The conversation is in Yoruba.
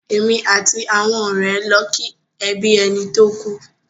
Èmi àti àwọn ọ̀rẹ́ lọ ki ẹbí ẹni tó kú.